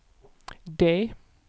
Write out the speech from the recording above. D